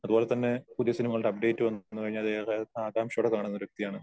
അതുപോലെതന്നെ പുതിയ സിനിമകളുടെ അപ്ഡേറ്റ് വന്നുകഴിഞ്ഞാൽ അത് ഏറെ ആകാംഷയോടെ കാണുന്ന ഒരു വ്യക്തിയാണ്.